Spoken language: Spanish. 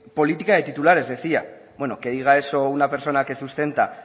política de titulares decía bueno que diga eso una persona que sustenta